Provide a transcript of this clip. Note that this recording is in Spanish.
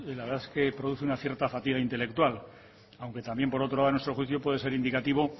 la verdad es que produce una cierta fatiga intelectual aunque también por otro lado a nuestro juicio puede ser indicativo